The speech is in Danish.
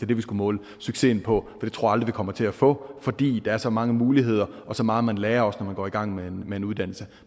det vi skulle måle succesen på det tror vi kommer til at få fordi der er så mange muligheder og så meget man lærer når man går i gang med med en uddannelse